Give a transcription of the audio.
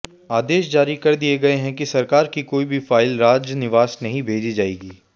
आदेश जारी कर दिए गए कि सरकार की कोई भी फाइल राजनिवास नहीं भेजी जाएगी